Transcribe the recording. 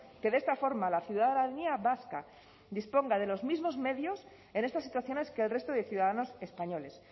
que de esta forma la ciudadanía vasca disponga de los mismos medios en estas situaciones que el resto de ciudadanos españoles